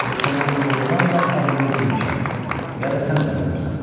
Yoxsa mən doğrudan da ağlımı itirmişəm, ya da sən dəli olmusan.